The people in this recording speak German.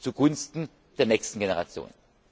zugunsten der nächsten Generation.